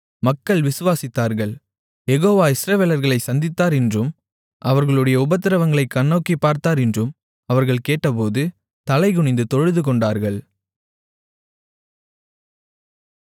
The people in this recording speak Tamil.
மக்கள் விசுவாசித்தார்கள் யெகோவா இஸ்ரவேலர்களைச் சந்தித்தார் என்றும் அவர்களுடைய உபத்திரவங்களைக் கண்ணோக்கிப் பார்த்தார் என்றும் அவர்கள் கேட்டபோது தலைகுனிந்து தொழுதுகொண்டார்கள்